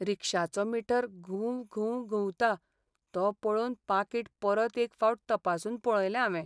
रिक्षाचो meter घुंव घुंव घुंवता तो पळोवन पाकीट परत एक फावट तपासून पळयलें हावें.